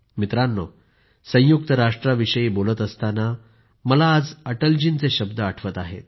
मित्रांनो संयुक्त राष्ट्राविषयी बोलत असताना मला आज अटल जी यांचे शब्द आठवत आहेत